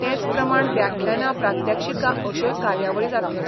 तेच प्रमाण व्याख्यानां प्रात्यक्षिकां अश्योय कार्यावळी जातल्यो.